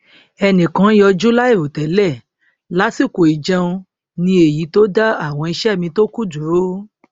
ẹnìkan yọjú láìrò tẹlẹ lásìkò ìjẹun ní èyí tó dá àwọn iṣẹ mi tó kù dúró